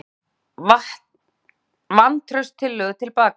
Dregur vantrauststillögu til baka